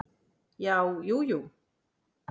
Já, jú jú.